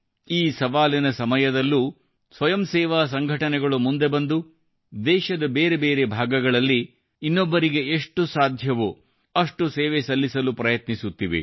ಈ ಸವಾಲಿನ ಸಮಯದಲ್ಲೂ ಸ್ವಯಂ ಸೇವಾ ಸಂಘಟನೆಗಳು ಮುಂದೆ ಬಂದು ದೇಶದ ಬೇರೆ ಬೇರೆ ಭಾಗಗಳಲ್ಲಿ ಇನ್ನೊಬ್ಬರಿಗೆ ಎಷ್ಟು ಸಾಧ್ಯವೋ ಅಷ್ಟು ಸೇವೆ ಸಲ್ಲಿಸಲು ಪ್ರಯತ್ನಿಸುತ್ತಿವೆ